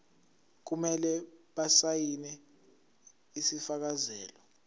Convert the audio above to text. kumele basayine isifakazelo